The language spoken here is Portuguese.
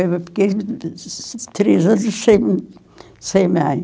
Eu fiquei três anos sem sem mãe.